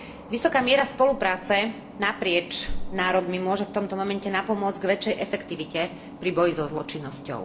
Vysoká miera spolupráce naprieč národmi môže v tomto momente napomôcť k väčšej efektivite pri boji so zločinnosťou.